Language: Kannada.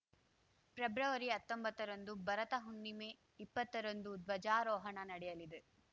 ಪ್ರೆಬ್ರವರಿಹತ್ತೊಂಬತ್ತರಂದು ಭರತ ಹುಣ್ಣಿಮೆ ಇಪ್ಪತ್ತರಂದು ಧ್ವಜಾರೋಹಣ ನಡೆಯಲಿದೆ